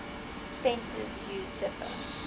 fencers use differ